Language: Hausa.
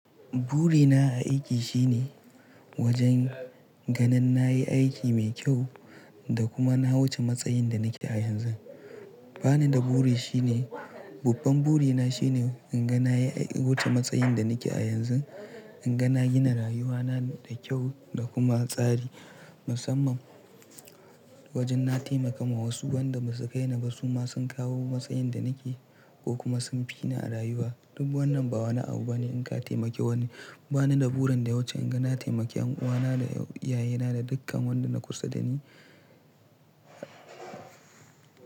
Burina a aiki shine wajen ganin na yi aiki mai kyau da kuma na wuce matsayin da nake a yanzu. Ba ni da buri shine, babban burina shine in ga na yi wuce matsayin da nake a yanzu, in ga na gina rayuwa na da kyau da kuma tsari, musamman wajen na taimakawa wasu wanda ba su kai ni ba su ma sun kawo matsayin da nake ko kuma sun fi na a rayuwa. Duk wannan ba wani abu bane in ka taimake wani. Ba ni da burin da wacce in ga na taimake 'yan uwana da iyayena da dukkan wanda na kusa da ni.